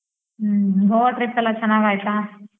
ಹ್ಮ್, Goa trip ಎಲ್ಲಾ ಚೆನ್ನಾಗ್ ಆಯ್ತಾ?